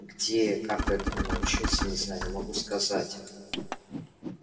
где и как этому научился не знаю но могу сказать